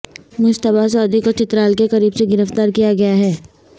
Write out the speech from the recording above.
مشتبہ سعودی کو چترال کے قریب سے گرفتار کیا گیا ہے